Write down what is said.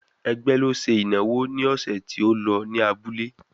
Ẹgbẹ́ ló ṣe ìnáwó ní ọ̀sẹ̀ tí ó lọ ní abúlé?